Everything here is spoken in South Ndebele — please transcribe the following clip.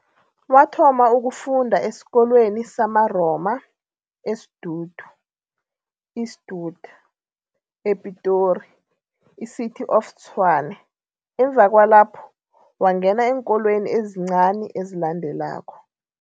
Wathoma ukufunda esikolweni samaRoma, eSdudu, Eastwood, ePitori l, City of Tshwane. Emva kwalapo wangena eenkolweni ezincani ezilandelako.